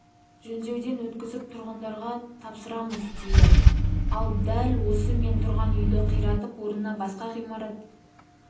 жөндеуден өткізіп тұрғындарға тапсырамыз дейді ал дәл осы мен тұрған үйді қиратып орнына басқа ғимарат